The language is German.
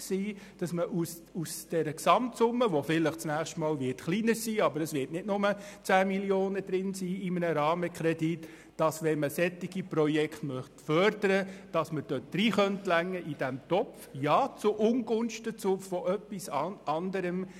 Es soll die Möglichkeit bestehen, aus dieser Gesamtsumme, die vielleicht beim nächsten Mal kleiner, aber sicher nicht bei 10 Mio. Franken sein wird, solche Projekte zu fördern, und ja, zu Ungunsten von etwas anderem.